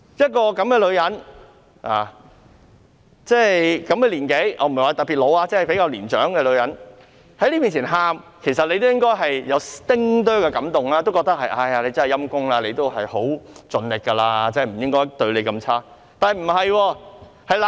這種年紀的女人——我不是說她特別老，只是比較年長的女人——在大家面前流淚，其實大家應該會有一丁點感動，覺得她很可憐，已經盡力去做，不應該對她太差。